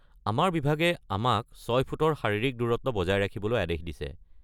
আমাৰ বিভাগে আমাক ছয় ফুটৰ শাৰীৰিক দূৰত্ব বজাই ৰাখিবলৈ আদেশ দিছে।